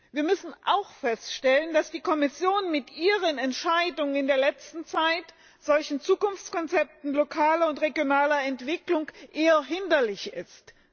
Wir müssen auch feststellen, dass die Kommission mit ihren Entscheidungen in der letzten Zeit solchen Zukunftskonzepten lokaler und regionaler Entwicklung eher hinderlich ist.